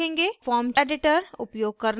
source editor